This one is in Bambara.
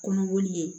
Kɔnɔboli ye